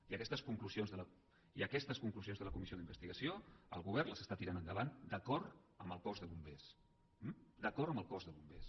i aquestes conclusions de la comissió d’investigació el govern les està tirant endavant d’acord amb el cos de bombers d’acord amb el cos de bombers